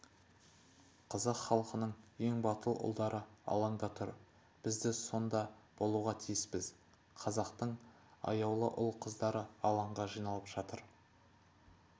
қазақ халқының ең батыл ұлдары алаңда тұр біз де сонда болуға тиіспіз қазақтың аяулы ұл-қыздары алаңға жиналып жатыр